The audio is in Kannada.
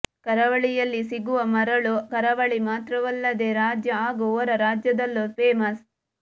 ಕರಾವಳಿಯಲ್ಲಿ ಸಿಗುವ ಮರಳು ಕರಾವಳಿ ಮಾತ್ರವಲ್ಲದೆ ರಾಜ್ಯ ಹಾಗೂ ಹೊರ ರಾಜ್ಯದಲ್ಲೂ ಫೇಮಸ್